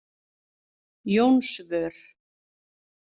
Jónsvör